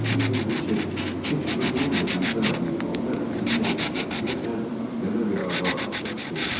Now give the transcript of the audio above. Bir gün Hinçer heç özünün də gözləmədiyi halda ilişə-ilişə: “Deyəsən, təzə bir arvad alacam” dedi.